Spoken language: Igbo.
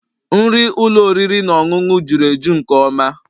Nri ụlọ oriri na ọṅụṅụ juru eju nke ọma